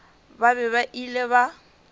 ba be ba ile ba